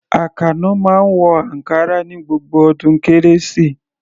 Àkànó máa ń wọ ankara ní gbogbo ọdún Kérésìmesì.